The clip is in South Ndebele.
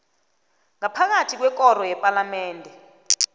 ngaphakathi kwekoro yepalamende